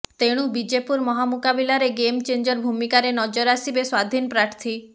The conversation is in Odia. ତେଣୁ ବିଜେପୁର ମହାମୁକାବିଲାରେ ଗେମ ଚେଞ୍ଜର ଭୂମିକାରେ ନଜର ଆସିବେ ସ୍ୱାଧୀନ ପ୍ରାର୍ଥୀ